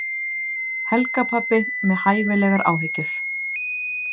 Helgarpabbi með hæfilegar áhyggjur.